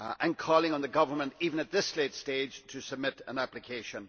I am calling on the government, even at this late stage, to submit an application.